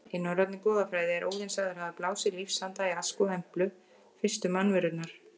Í norrænni goðafræði er Óðinn sagður hafa blásið lífsanda í Ask og Emblu, fyrstu mannverurnar.